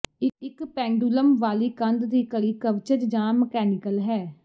ਇੱਕ ਪੈਂਡੂਲਮ ਵਾਲੀ ਕੰਧ ਦੀ ਘੜੀ ਕਵਚਜ ਜਾਂ ਮਕੈਨੀਕਲ ਹੈ